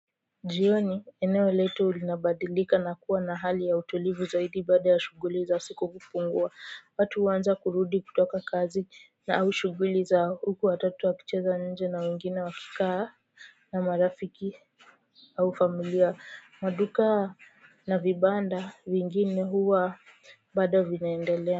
Jioni eneo letu linabadilika na kuwa na hali ya utulivu zaidi baada ya shuguli za siku kupungua watu huanza kurudi kutoka kazi au shuguli zao huku watato wakicheza nje na wengine wakikaa na marafiki au familia maduka na vibanda vingine huwa bado vinaendelea.